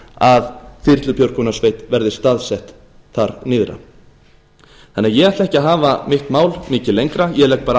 að þyrlubjörgunarsveit verði staðsett þar nyrðra ég ætla því ekki að hafa mitt mál mikið lengra ég legg bara